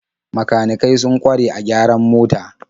Makanikai sun kware a gyaran mota.